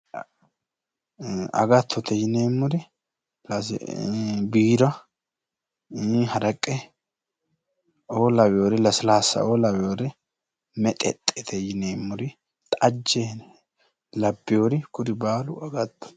Agatote yineemori biira haraqe'oo lawewori lasilasa'oo lawewori mexexxete yineemori xajje labbewori kuri baalu agatote